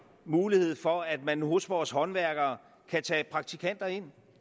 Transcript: mulighed for at man hos vores håndværkere kan tage praktikanter ind